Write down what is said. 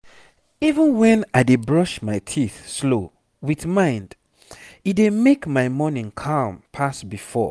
even when i dey brush my teeth slow with mind e dey make my morning calm pass before.